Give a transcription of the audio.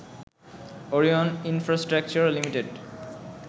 Orion infrastructure limited